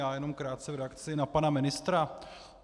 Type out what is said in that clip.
Já jenom krátce v reakci na pana ministra.